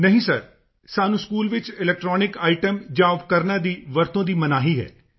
ਨਹੀਂ ਸਰ ਸਾਨੂੰ ਸਕੂਲ ਵਿੱਚ ਇਲੈਕਟ੍ਰੌਨਿਕ ਆਈਟਮ ਜਾਂ ਉਪਕਰਣਾਂ ਦੀ ਵਰਤੋਂ ਦੀ ਮਨਾਹੀ ਹੈ